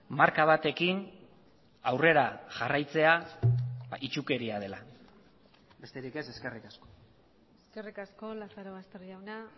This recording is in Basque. marka batekin aurrera jarraitzea itsukeria dela besterik ez eskerrik asko eskerrik asko lazarobaster jauna